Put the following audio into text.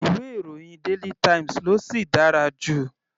Ìwé ìròyìn daily times ló sì dára jù.